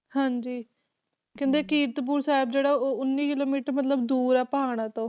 ਹਾਂਜੀ ਕਹਿੰਦੇ ਕੀਰਤਪੁਰ ਸਾਹਿਬ ਜਿਹੜਾ ਉਹ ਉੱਨੀ ਕਿੱਲੋਮੀਟਰ ਮਤਲਬ ਦੂਰ ਹੈ ਪਹਾੜਾਂਂ ਤੋਂ।